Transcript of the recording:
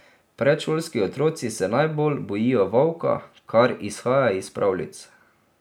Predšolski otroci se najbolj bojijo volka, kar izhaja iz pravljic.